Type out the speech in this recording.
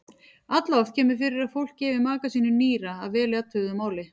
Alloft kemur fyrir að fólk gefi maka sínum nýra að vel athuguðu máli.